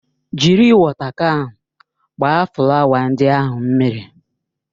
Jiri wọta kan gbaa flawa ndị ahụ mmiri!